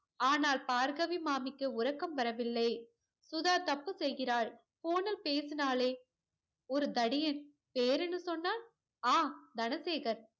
ஆனால் பார்கவி மாமிக்கு உறக்கம் வரவில்லை. சுதா தப்பு செய்கிறாள். phone னில் பேசினாளே ஒரு தடியன். பேர் என்ன சொன்னான்? ஆஹ் தனசேகர்.